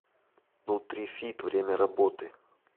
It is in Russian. нутрифит время работы